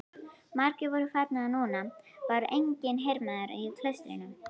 Margir voru farnir og núna var enginn hermaður í klaustrinu.